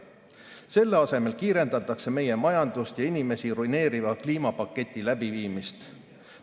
Selle asemel kiirendatakse meie majandust ja inimesi ruineeriva kliimapaketi läbiviimist.